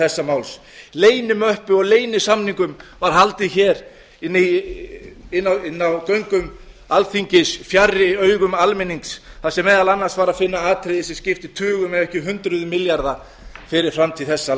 þessa máls leynimöppu og leynisamningum var haldið hér inni á göngum alþingis fjarri augum almennings þar sem meðal annars var að finna atriði sem skipti tugum ef ekki hundruðum milljarða fyrir framtíð þessa